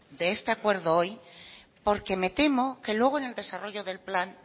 de este acuerdo hoy porque me temo que luego en el desarrollo del plan